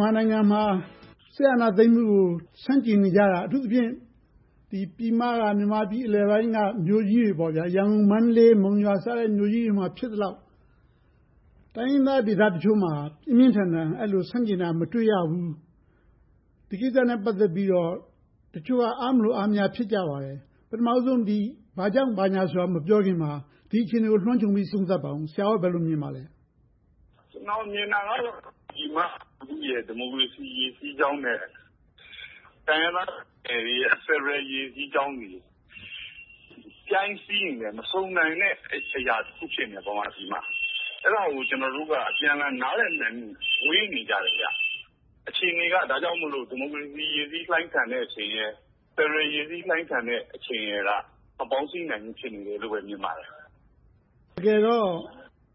န်မာနိုင်ငံမှာ စစ်အာဏာသိမ်းမှုကို ဆန့်ကျင်နေကြတာ အထူးသဖြင့် ပြည်မက မြန်မာပြည်အလယ်ပိုင်းက မြို့ ကြီးတွေ ရန်ကုန်၊ မန္တလေး၊ မုံရွာစတဲ့ မြို့ကြီးတွေမှာ ဖြစ်သလောက် တိုင်းရင်းသားဒေသတချို့မှာ ပြင်းပြင်းထန်ထန် အဲဒီလို ဆန့်ကျင်တာ မတွေ့ရဘူး။ ဒီကိစ္စနဲ့ ပတ်သက်ပြီးတော့ တချို့က အားမလိုအားမရ ဖြစ်ကြပါတယ်။ ပထမဦးဆုံး ဘာကြောင့်ဘာညာဆိုတာကို မပြောခင်မှာ ဒီအခြေအနေကို လွှမ်းခြုံပြီး သုံးသပ်ပါအုံး။ ဆရာ့အနေနဲ့ ဘယ်လိုမြင်ပါသလဲ။ ကျနော်မြင်တာကတော့ ပြည်မလူထုရဲ့ ဒီမိုကရေစီ ရေစီးကြောင်းနဲ့ တိုင်းရင်းသားတွေရဲ့ ဖယ်ဒရယ်ရေစီးကြောင်းတွေက ပြိုင်စီးနေတဲ့ မဆုံနိုင်တဲ့အရာ တစ်ခုဖြစ်နေတယ်။ ဗမာပြည်မှာ။ အဲဒါကို ကျနော်တို့က အပြန်အလှန် နားလည်နိုင်မှု ဝေးနေကြတယ်။ အခြေအနေက ဒါကြောင့်မို့လို့ ဒီမိုကရေစီ ရေစီလှိုင်းထန်တဲ့အချိန်ရယ်၊ ဖယ်ဒရယ် ရေစီးလှိုင်းထန်တဲ့အချိန်ရယ်က မပေါင်းစည်းနိုင်ဘူးလို့ပဲ ထင်ပါတယ်။ တကယ်တော့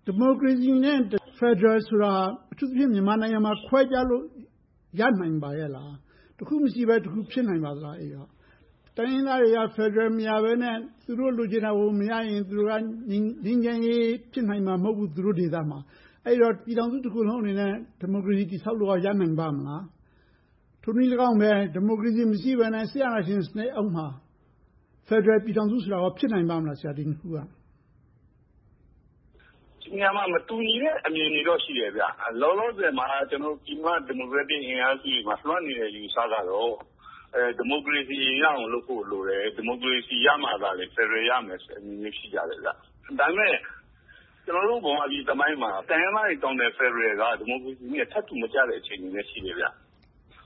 ဒီမိုကရေစီနဲ့ ဖယ်ဒရယ်ဆိုတာ အထူးသဖြင့် မြန်မာနိုင်ငံမှာ ခွဲခြားလို့ ရနိုင်ပါရဲ့လား။ တစ်ခုမရှိဘဲ တစ်ခု ဖြစ်နိုင်ပါလား။ အဲဒီတော့ တိုင်းရင်းသားတွေက ဖယ်ဒရယ်မရဘဲနဲ့ သူတို့လိုချင်တာကို မရရင် ငြိမ်းချမ်းရေး သူတို့ဒေသမှာ ဖြစ်နိုင်မှာ မဟုတ်ဘူး။ အဲဒီတော့ ပြည်ထောင်စုတစ်ခုလုံးအနေနဲ့ ဒီမိုကရေစီ တည်ဆောက်ဖို့ ရနိုင်ပါ့မလား။ ထိုနည်းလည်းကောင်းပဲ ဒီမိုကရေစီ မရှိဘဲနဲ့ စစ်အာဏာရှင်စနစ်အောက်မှာ ဖယ်ဒရယ်ပြည်ထောင်စုဆိုတာ ဖြစ်နိုင်ပါ့မလား။ ဒီနှစ်ခုက။ ဒီနေရာမှာ မတူညီတဲ့ အမြင်တွေတော့ ရှိတယ်။ လောလောဆယ်မှာ ပြည်မဒီမိုကရက်တစ်အင်အားစုတွေမှာ လွှမ်းနေတဲ့ အယူအဆကတော့ ဒီမိုကရေစီ အရင်ရဖို့လိုတယ်။ ဒီမိုကရေစီရမှသာ ဖယ်ဒရယ် ရမယ်ဆိုတာမျို ရှိကြတယ်။ ဒါပေမဲ့ ကျနော်တို့ ဗမာပြည်သမိုင်းမှာ တိုင်းရင်းသားတွေတောင်းတဲ့ ဖယ်ဒရယ်က ဒီမိုကရေစီနဲ့ ထပ်တူမကျတဲ့ အချိန်တွေလည်း ရှိတယ်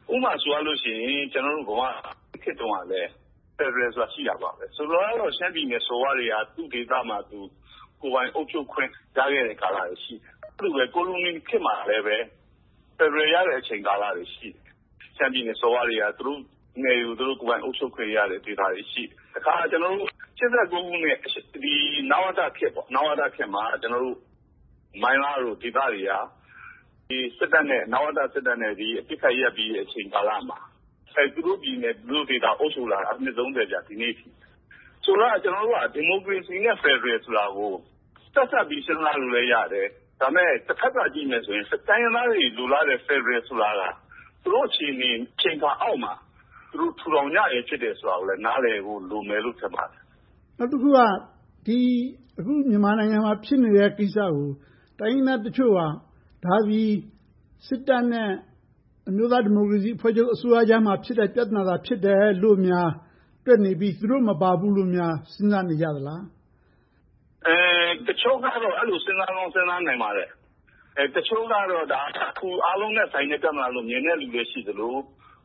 ။ ဥပမာဆိုရင် ကျနော်တို့ - ခေတ်တုန်းကလည်း ဖယ်ဒရယ်ဆိုတာ ရှိတယ်ပဲ။ ဆိုလိုတာကတော့ ရှမ်းပြည်နယ် စော်ဘွားတွေက သူ့ဒေသမှာသူ ကိုယ်ပိုင်အုပ်ချုပ်ခွင့်ကာလတွေ ရှိခဲ့တယ်။ ကိုလိုနီခေတ်မှာလည်း ဖယ်ဒရယ်ရတဲ့ ကာလတွေ ရှိတယ်။ ရှမ်းပြည်နယ်စော်ဘွားတွေက သူတို့ကိုယ်ပိုင် နယ်မြေတွေကို ကိုယ်ပိုင်အုပ်ချုပ်ခွင့်ရတဲ့ ဒေသတွေ ရှိတယ်။ တခါ ၈၉ ခုနှစ် နဝတခေတ်မှာ မိုင်းလားလို ဒေသတွေက နဝတစစ်တပ်နဲ့ အပစ်ခတ်ရပ်ပြီး အချိန်ကာလမှာ သူတို့ပြည်နယ်၊ သူတို့ဒေသတွေကို အုပ်စိုးလာတာ ဒီနေ့အထိ။ ဆိုတော့ ကျနော်တို့က ဒီမိုကရေစီနဲ့ ဖယ်ဒရယ်ဆိုတာကို ဆက်စပ်ပြီး စဉ်းစားလို့လည်း ရတယ်။ ဒါပေမဲ့ တဘက်သတ် ကြည့်မယ်ဆိုရင် တိုင်းရင်းသားတွေ လိုလားတဲ့ ဖယ်ဒရယ်ဆိုတာက သူတို့အခြေအနေ အချိန်အခါအောက်မှာ သူတို့ ထူထောင်ကြခြင်း ဖြစ်တယ်ဆိုတာကိုလည်း နားလည်ဖို့ လိုမယ်လို့ထင်ပါတယ်။ နောက်တစ်ခုက အခုမြန်မာနိုင်ငံမှာ ဖြစ်နေတဲ့ကိစ္စကို တိုင်းရင်းသားတချို့က ဒါသည် စစ်တပ်နဲ့ အမျိုးသားဒီမိုကရေစီအဖွဲ့ချုပ် အစိုးရကြားမှာ ဖြစ်တဲ့ ပြဿနာသာ ဖြစ်တယ်လို့များ တွက်နေပြီး သူတို့မပါဘူးလို့များ စဉ်းစားနေကြသလား။ တချို့ကတော့ အဲဒီလိုမျိုး စဉ်းစားကောင်း စဉ်းစားပါလိမ့်မယ်။ တချို့ကတော့ အားလုံးနဲ့ သက်ဆိုင်တဲ့ ပြဿနာလို့ မြင်တဲ့လူလည်း ရှိသလို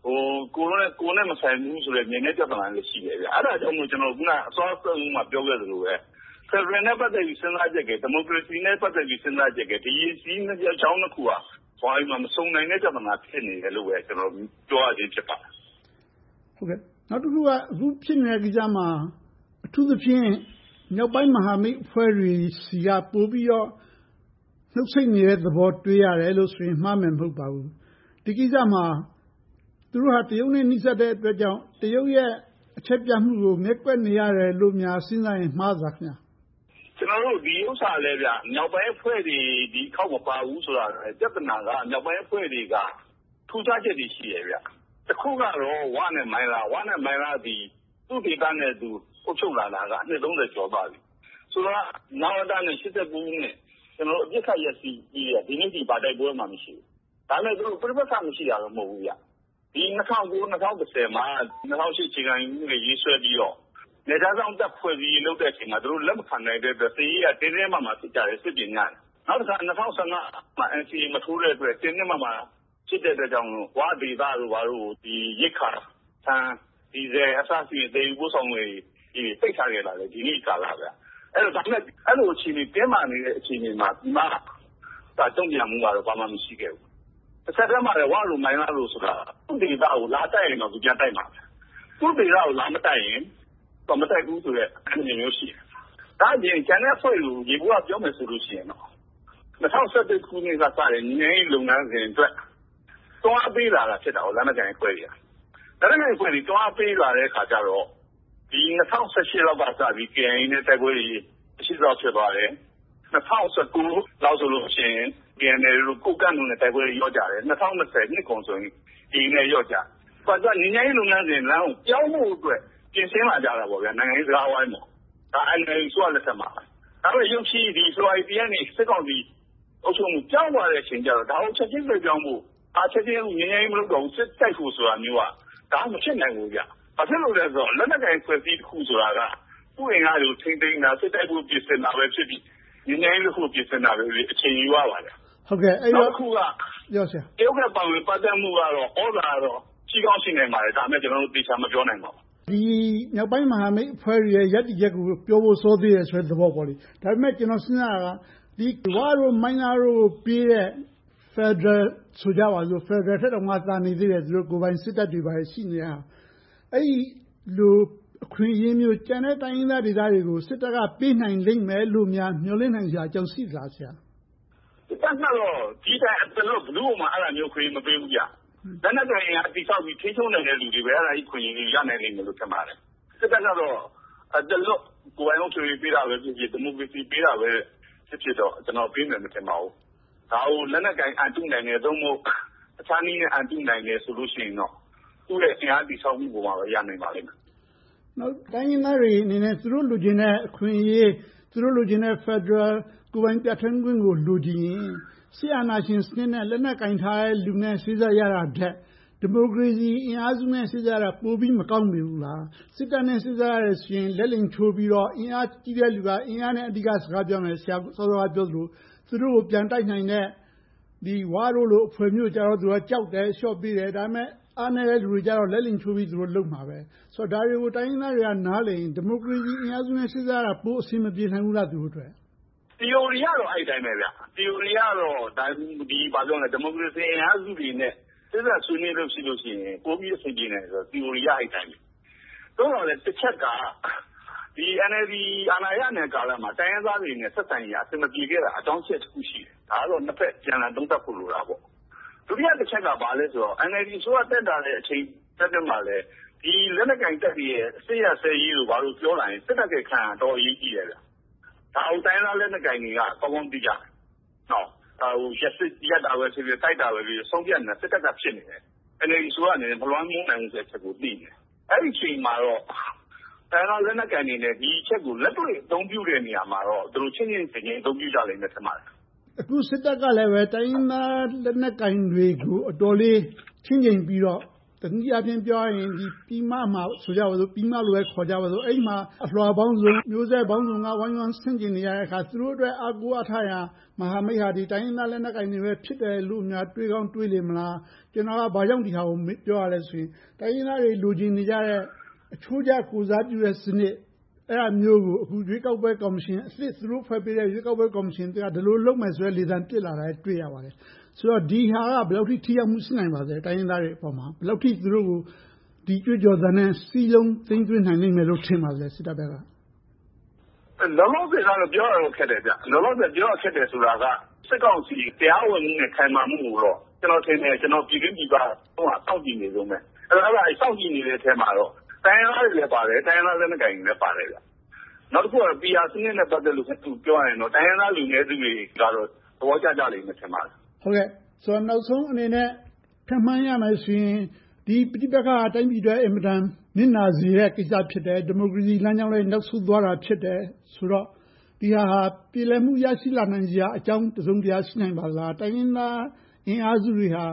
၊ ကိုယ်နဲ့မဆိုင်ဘူးဆိုပြီး မြင်တဲ့လူလည်း ရှိပါတယ်။ အဲဒါကြောင့်မို့ အခုနစောစောက ပြောခဲ့သလိုပဲ ဖယ်ဒရယ်နဲ့ ပတ်သက်ပြီး စဉ်းစားချက်ရယ်၊ ဒီမိုကရေစီနဲ့ ပတ်သက်ပြီး စဉ်းစားချက်ရယ်။ ဒီရေစီးကြောင်းနှစ်ခုက ဗမာပြည်မှာ မဆုံနိုင်တဲ့ ပြဿနာလို့ပဲ ကျနော် ပြောရခြင်း ဖြစ်ပါတယ်။ နောက်တစ်ခုက အခုဖြစ်နေတဲ့ကိစ္စမှာ အထူးသဖြင့် မြောက်ပိုင်းမဟာမိတ်အဖွဲ့တွေဆီက ပိုပြီးတော့ နှုတ်ဆိတ်နေတဲ့သဘော တွေ့ရတယ်လို့ဆိုရင် မှားမယ်မဟုတ်ပါဘူး။ ဒီကိစ္စမှာ သူတို့က တရုတ်နဲ့ နီးစပ်တဲ့အတွက်ကြောင့် တရုတ်ရဲ့ အချက်ပြမှုကို ငဲ့ကွက်နေရတယ်လို့များ စဉ်းစားရင် မှားသလား။ ဒီဥစ္စာလဲ မြောက်ပိုင်းအဖွဲ့တွေ ဒီတစ်ခေါက်မပါဘူးဆိုတာ ပြဿနာက မြောက်ပိုင်းအဖွဲ့တွေက ထူးခြားချက်တွေ ရှိတယ်။ တစ်ခုကတော့ ဝနဲ့မိုင်းလားတို့သည် သူ့ဒေသနဲ့သူ အုပ်ချုပ်လာတာက အနှစ် ကျော်သွားပြီ။ ဆိုတာက နဝတနဲ့ ၈၉ ခုနှစ် အပစ်ခတ်ရပ်စဲပြီး ဒီနေ့အထိ ဘာတိုက်ပွဲမှ မရှိဘူး။ ဒါပေမဲ့ သူတို့ ပဋိပက္ခ မရှိတာတော့ မဟုတ်ဘူး။ ဒီ ၂၀၀၉-၂၀၁၀ မှာ ၂၀၀၈ အခြေခံဥပဒေ ရေးဆွဲပြီးတော့ နယ်ခြားစောင့်တပ် ဖွဲ့စည်းရေးလုပ်တဲ့အချိန်တုန်းက သူတို့လက်မခံတဲ့အတွက် စစ်ရေးအရ တင်းတင်းမာမာ ဖြစ်ကြတယ်။ စစ်ပြင်ကြတယ်။ နောက်တစ်ခါ ၂၀၁၅ မှာ NCA မထိုးတဲ့အတွက် တင်းတင်းမာမာ ဖြစ်တဲ့အတွက်ကြောင့်မို့ ဝဒေသတို့ကို ရိက္ခာ ဆန်၊ ဒီဇယ် အစရှိသဖြင့် သယ်ယူပို့ဆောင်ရေးတွေ ပိတ်ထားခဲ့တာ ဒီနေ့အထိကာလ။ ဒါပေမဲ့ ဒီလိုတင်းမာနေတဲ့ အခြေအနေမှာ ပြည်မတုံ့ပြန်မှုကတော့ ဘာမှမရှိခဲ့ဘူး။ တဆက်တည်းမှာလဲ ဝတို့ မိုင်းလားတို့ ဆိုတာကလဲ သူ့ဒေသကို လာတိုက်ရင်တော့ ပြန်တိုက်မှာပဲ။ သူ့ဒေသကို လာမတိုက်ရင် မတိုက်ဘူးဆိုတဲ့ အနေအထားမျိုး ရှိတယ်။ ဒါ့အပြင် ကျန်တဲ့အဖွဲ့တွေကို ယေဘုယျပြောရရင် ၂၀၁၁ ခုနှစ်ကစတဲ့ ငြိမ်းချမ်းရေးလုပ်ငန်းစဉ်အတွက် တွန်းအားပေးတာ ဖြစ်တာက လက်နက်ကိုင်အဖွဲ့တွေ။ လက်နက်ကိုင်အဖွဲ့တွေ တွန်းအားပေးလာတဲ့အခါကြတော့ ၂၀၁၈ လောက်ကစပြီး KIA နဲ့ တိုက်ပွဲတွေ မရှိသလောက် ဖြစ်သွားတယ်။ ၂၀၁၉ လောက်ဆိုရင် KNLA, ကိုးကန့်တို့နဲ့ တိုက်ပွဲတွေ လျော့ကျသွားတယ်။ ၂၀၂၀ နှစ်ကုန်ဆိုရင် AA နဲ့ လျော့ကျတယ်။ ငြိမ်းချမ်းရေးလုပ်ငန်းစဉ်လမ်းကို ပြောင်းဖို့အတွက် ပြင်ဆင်လာကြတယ်။ နိုင်ငံရေးစကားဝိုင်းအတွက်။ ဒါက NLD အစိုးရလက်ထက်မှာ။ ဒါပေမဲ့ ရုတ်ချည်း ဖေဖေါ်ဝါရီလ ရက်နေ့မှာ စစ်ကောင်စီ အုပ်ချုပ်ရေး ပြောင်းသွားတဲ့အခါကြတော့ ဒါကိုချက်ချည်းလွှဲပြောင်းဖို့၊ ချက်ချည်းငြိမ်းချမ်းရေး မလုပ်တော့ဘူး၊ စစ်တိုက်ဖို့ဆိုတာမျိုးက မဖြစ်နိုင်ဘူး။ ဘာဖြစ်လို့လဲဆိုတော့ လက်နက်ကိုင်အဖွဲ့အစည်းတစ်ခုဆိုတာက သူ့အင်အားတွေကို ထိန်းသိမ်းတာ၊ စစ်တိုက်ဖို့ ပြင်ဆင်တာပဲဖြစ်စေ၊ ငြိမ်းချမ်းရေးတစ်ခုကို ပြင်ဆင်တာပဲဖြစ်စေ အချိန်ယူပါတယ်။ နောက်တစ်ခုက တရုတ်ရဲ့ ပါဝင်ပတ်သက်မှုကတော့ သြဇာလွှမ်းမိုးမှုကတော့ ရှိကောင်းရှိနိုင်ပါတယ်။ ဒါပေမဲ့ ဒါကို ကျနော်တို့ သေချာမပြောနိုင်ပါဘူး။ မြောက်ပိုင်းမဟာမိတ်တွေရဲ့ ရပ်တည်ချက်ကို ပြောဖို့ စောသေးတယ်ဆိုတဲ့ သဘောမျိုးပေါ့။ ဒါပေမဲ့ ကျနော်စဉ်းစားတာက ဝတို့၊ မိုင်းလားတို့ကိုပေးတဲ့ ဖယ်ဒရယ်ဆိုကြပါစို့။ ဖယ်ဒရယ်ထက်တောင် သာနေသေးတယ်။ ကိုယ်ပိုင်စစ်တပ်တွေ ဘာတွေ ရှိနေတဲ့ဟာ။ အဲဒီလို အခွင့်အရေးမျိုး ကျန်တဲ့ တိုင်းရင်းသားဒေသတွေကို စစ်တပ်က ပေးနိုင်လိမ့်မယ်လို့များ မျှော်လင့်နိုင်စရာ အကြောင်းရှိလား။ စစ်တပ်ကတော့ ဒီထက် ဘယ်သူကိုမှ အသားလွှတ် မပေးဘူး။ လက်နက်ကိုင်အင်အား တည်ဆောက်ပြီး ထိန်းချုပ်နိုင်တဲ့ လူတွေကိုပဲ အဲဒီအခွင့်အရေး ရနိုင်လိမ့်မယ်လို့ ထင်ပါတယ်။ စစ်တပ်ကတော့ အသားလွှတ် ကိုယ်ပိုင်အုပ်ချုပ်ရေး ပေးတာပဲဖြစ်ဖြစ်၊ ဒီမိုကရေစီ ပေးတာပဲဖြစ်ဖြစ် ကျနော်ကတော့ ပေးမယ်မထင်ပါဘူး။ ဒါကို လက်နက်ကိုင် အန်တုနိုင်တယ်၊ ဒါမှမဟုတ် တခြားနည်းနဲ့ အန်တုနိုင်တယ်ဆိုရင်တော့ သူရဲ့ အင်အားတည်ဆောက်မှုပေါ်မှာပဲ ရနိုင်ပါလိမ့်မယ်။ နောက် တိုင်းရင်းသားတွေအနေနဲ့ သူတို့လိုချင်တဲ့ အခွင့်အရေး သူတို့လိုချင်တဲ့ ဖယ်ဒရယ် ကိုယ်ပိုင်ပြဌာန်းခွင့်ကို လိုချင်ရင် စစ်အာဏာရှင်စနစ်နဲ့ လက်နက်ကိုင်လူတွေနဲ့ စေ့စပ်ညှိနှိုင်းပေးရတာထက် ဒီမိုကရေစီအင်အားစုတွေနဲ့ စေ့စပ်ရတာ ပိုပြီးမကောင်းမနေဘူးလား။ စစ်တပ်နဲ့ စေ့စပ်ရရင် လက်လိမ်ချိုးပြီးတော့ အင်အားကြီးတဲ့လူက အင်အားနဲ့ စကားပြောမယ်။ ဆရာ စောစောကပြောသလို သူတို့ကို ပြန်တိုက်နိုင်တဲ့ ဝတို့လို အဖွဲ့မျိုးကြတော့ သူက ကြောက်တယ်၊ အလျှော့ပေးတယ်။ ဒါပေမဲ့ အားနည်းတဲ့လူတွေကြတော့ လက်လိမ်ချိုးပြီး သူတို့လုပ်မှာပဲ။ ဆိုတော့ ဒါတွေကို တိုင်းရင်းသားတွေက နားလည်တယ်ဆိုရင် ဒီမိုကရေစီအင်အားစုနဲ့ စေ့စပ်ရတာ ပိုအဆင်မပြေနိုင်ဘူးလား သူတို့အတွက်။ သီအိုရီအရတော့ အဲဒီအတိုင်းပဲ သီအိုရီအရတော့ ဒီမိုကရေစီအင်အားစုတွေနဲ့ စေ့စပ်ဆွေးနွေးလို့ရှိရင် ပိုပြီးအဆင်ပြေနိုင်တယ်လို့ သီအိုရီအရ ဖြစ်နိုင်တယ်။ သို့သော်လဲ တစ်ချက်က NLD အာဏာရနေတဲ့ ကာလမှာ တိုင်းရင်းသားတွေနဲ့ အဆင်မပြေခဲ့တာ အကြောင်းအချက် တစ်ခုရှိတယ်။ ဒါကတော့ နှစ်ဘက်အပြန်အလှန် သုံးသပ်ဖို့ လိုတာပေါ့။ ဒုတိယတစ်ချက်က ဘာလဲဆိုတော့ NLD အစိုးရတက်လာတဲ့ အချိန်အတွင်းမှာ လက်နက်ကိုင်တပ်တွေရဲ့ စစ်ရပ်စဲရေးတို့ ဘာတို့ပြောလာရင် စစ်တပ်ရဲ့ အခန်းကဏ္ဍက တော်တော်အရေးကြီးတယ်။ ဒါကို တိုင်းရင်းသားလက်နက်ကိုင်တွေက ကောင်းကောင်းသိကြတယ်။ ဒါကို ရပ်တာပဲဖြစ်ဖြစ်၊ တိုက်တာပဲဖြစ်ဖြစ် ဆုံးဖြတ်နိုင်တာ စစ်တပ်က ဖြစ်နေတယ်။ NLD အစိုးရအနေနဲ့ မလွှမ်းမိုးနိုင်ဘူးဆိုတဲ့ အချက်ကို သိနေတယ်။ အဲဒီအချိန်မှာတော့ တိုင်းရင်းသားလက်နက်ကိုင်တွေနဲ့ ဒီအချက်ကို လက်တွေ့အသုံးပြုတဲ့ နေရာမှာတော့ သူတို့ချင့်ချင့်ချိန်ချိန် အသုံးပြုကြလိမ့်မယ် ထင်ပါတယ်။ အခု စစ်တပ်ကလဲ တိုင်းရင်းသားလက်နက်ကိုင်တွေ အတော်လေးချင့်ချိန်ပြီးတော့ တနည်းအားဖြင့် ပြောရရင် ပြည်မမှာ အလွှာပေါင်းစုံ မျိုးဆက်ပေါင်းစုံက ဝိုင်းဝန်းဆန့်ကျင်နေကြတော့ သူတို့အတွက် အားကိုးအားထားရ မဟာမိတ်အဖွဲ့က တိုင်းရင်းသားလက်နက်ကိုင်တွေလို့များ တွေးကောင်းတွေးနေမလား။ ကျနော်က ဒါကို ဘာကြောင့်ပြောရသလဲဆိုရင် တိုင်းရင်းသားတွေ လိုချင်နေကြတဲ့ အချိုးကျ ကိုယ်စားပြုတဲ့စနစ် အဲဒါမျိုးကို အခုရွေးကောက်ပွဲ ကော်မရှင်အသစ်၊ သူတို့ဖွဲ့ပေးတဲ့ ရွေးကောက်ပွဲ ကော်မရှင်အသစ်က ဒီလိုလုပ်မယ်ဆိုတဲ့ လေသံပစ်လာတာကို တွေ့ရပါတယ်။ ဒီဟာက ဘယ်လောက်အထိ ထိရောက်မှု ရှိနိုင်ပါလဲ။ တိုင်းရင်းသားတွေအပေါ်မှာ သူတို့ကို ဒီကြွေးကြော်သံနဲ့ စစ်တပ်ဘက်က စည်းလုံးသိမ်းသွင်းနိုင်မယ်လို့ ထင်ပါသလဲ။ လောလောဆယ်တော့ ပြောရခက်တယ်။ လောလောဆယ် ပြောရခက်တယ်ဆိုတာက စစ်ကောင်စီ တရားဝင်မှုနဲ့ ခိုင်မာမှုကိုတော့ ကျနော်ထင်တယ်၊ ပြည်တွင်းပြည်ပက စောင့်ကြည့်နေတုန်းပဲ။ စောင့်ကြည့်နေတဲ့အထဲမှာ တိုင်းရင်းသားတွေလည်း ပါတယ်။ တိုင်းရင်းသားလက်နက်ကိုင်တွေလည်း ပါတယ်။ နောက်တစ်ခုက PR စနစ်နဲ့ ပတ်သက်လို့ ပြောရရင်တော့ တိုင်းရင်းသားလူနည်းစုတွေကတော့ သဘောကျကြမယ် ထင်ပါတယ်။ နောက်ဆုံးအနေနဲ့ ခန့်မှန်းရမယ်ဆိုရင် ဒီပဋိပက္ခက တိုင်းပြည်အတွက် အင်မတန် နစ်နာစေမယ့် ကိစ္စ ဖြစ်တယ်။ ဒီမိုကရေစီလမ်းကြောင်းလည်း နောက်ဆုတ်သွားတာ ဖြစ်တယ်ဆိုတော့ ဒီဟာက ပြေလည်မှု ရရှိနိုင်စရာအကြောင်း တစုံတရာ ရှိနိုင်ပါသလား။ တိုင်းရင်းသားအင်အားစုတွေဟာ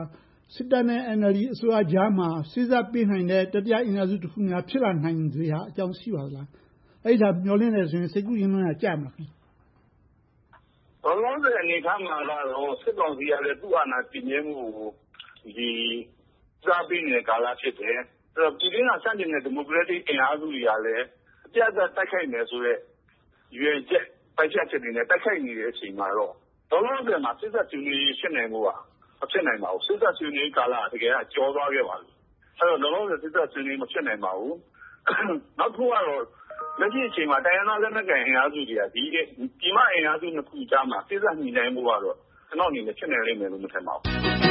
စစ်တပ်နဲ့ NLD အစိုးရကြားမှာ စေ့စပ်ပေးနိုင်တဲ့ တတိယအင်အားစုများ ဖြစ်လာနိုင်စရာ အကြောင်းရှိပါသလား။ အဲဒါကို မျှော်လင့်တယ်ဆိုရင် စိတ်ကူးယဉ်လွန်ရာ ကြမလား။ လောလောဆယ်အနေအထားမှာတော့ စစ်ကောင်စီကလည်း သူ့အာဏာတည်မြဲမှုကို ဦးစားပေးနေတဲ့ကာလ ဖြစ်တယ်။ ပြည်တွင်းက ဆန့်ကျင်နေတဲ့ ဒီမိုကရက်တစ်အင်အားစုတွေကလည်း အပြတ်အသတ် တိုက်ခိုက်မယ်ဆိုတဲ့ ရည်ရွယ်ချက်၊ ပိုင်ဖြတ်ချက်တွေနဲ့ တိုက်ခိုက်နေတဲ့ အချိန်မှာတော့ လောလောဆယ်မှာ စေ့စပ်ဆွေးနွေးရေး ဖြစ်နိုင်ဖို့က မဖြစ်နိုင်ပါဘူး။ စေ့စပ်ဆွေးနွေးရေးကာလက တကယ်တော့ ကျော်သွားခဲ့ပါပြီ။ အဲဒီတော့ လောလောဆယ် စေ့စပ်ဆွေးနွေးရေး မဖြစ်နိုင်ပါဘူး။ နောက်တစ်ခုကတော့ လက်ရှိအခြေအနေမှာ တိုင်းရင်းသား လက်နက်ကိုင်အင်အားစုတွေက ပြည်မအင်အားစုနှစ်ခုကြားမှာ စေ့စပ်ညှိနှိုင်းဖို့ကတော့ ကျနော့်အမြင် ဖြစ်နိုင်လိမ့်မယ်လို့ မမြင်ပါဘူး။